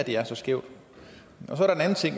her er så skævt så